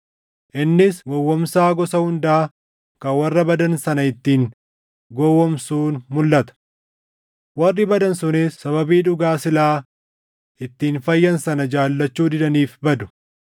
innis gowwoomsaa gosa hundaa kan warra badan sana ittiin gowwoomsuun mulʼata. Warri badan sunis sababii dhugaa silaa ittiin fayyan sana jaallachuu didaniif badu.